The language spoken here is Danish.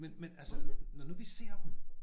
Men men altså når nu vi ser dem